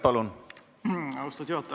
Austatud juhataja!